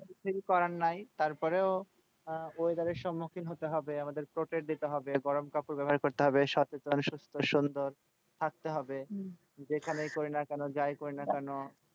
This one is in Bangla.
কিছু করার নাই, তারপরেও weather এর সম্মুখীন হতে হবে আমাদের যেতে হবে গরম কাপড় ব্যবহার করতে হবে সচেতন সুস্থ সুন্দর থাকতে হবে যেখানেই করিনা কেন যাই করিনা কেন,